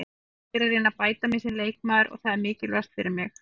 Ég er að reyna að bæta mig sem leikmaður og það er mikilvægast fyrir mig.